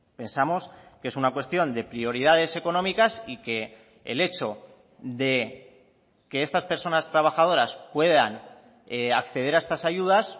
pensamos que es una cuestión de prioridades económicas y que el hecho de que estas personas trabajadoras puedan acceder a estas ayudas